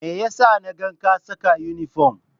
Me ya sa na ga ka saka inifom?